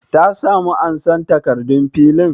Ta samu ansan takardun filin?